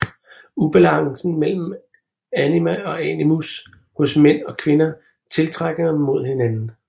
Ubalancen mellem anima og animus hos mænd og kvinder tiltrækker dem mod hinanden